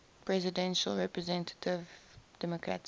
presidential representative democratic